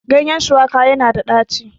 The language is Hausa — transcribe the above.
ganyen shuwaka yana da daci